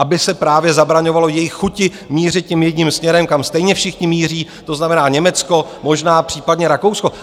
Aby se právě zabraňovalo jejich chuti mířit tím jedním směrem, kam stejně všichni míří, to znamená Německo, možná případně Rakousko.